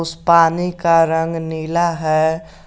उस पानी का रंग नीला है।